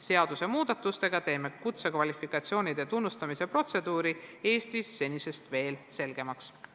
Seadusmuudatustega teeme kutsekvalifikatsioonide tunnustamise protseduuri Eestis senisest veel selgemaks.